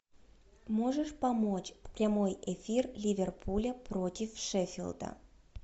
можешь помочь прямой эфир ливерпуля против шеффилда